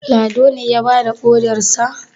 Ladon ne ya bada ƙodarsa?